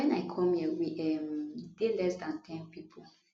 wen i come here we um dey less dan ten pipo